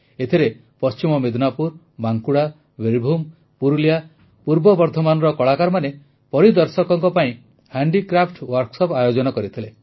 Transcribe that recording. ଏଥିରେ ପଶ୍ଚିମ ମିଦନାପୁର ବାଂକୁଡା ବୀରଭୂମ ପୁରୁଲିୟା ପୂର୍ବ ବର୍ଦ୍ଧମାନର କଳାକାରମାନେ ପରିଦର୍ଶକଙ୍କ ପାଇଁ ହାଣ୍ଡିକ୍ରାଫ୍ଟ ୱର୍କଶପ୍ ଆୟୋଜିତ କରିଥିଲେ